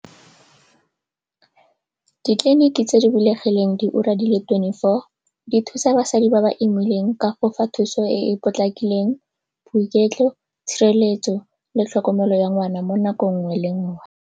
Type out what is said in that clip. Ditleliniki tse di bulegileng diura di le twenty four di thusa basadi ba ba imileng ka go fa thuso e e potlakileng, boiketlo, tshireletso le tlhokomelo ya ngwana mo nako nngwe le nngwe.